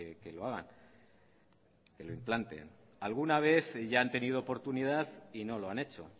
que lo hagan que lo implanten alguna vez ya han tenido oportunidad y no lo han hecho